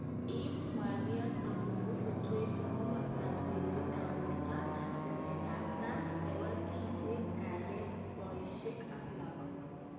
Ave Maria Semakufu 20.Komastap tililindop porto, Tesetaptap. nepo klkweg, alyet, Poishek ak lagok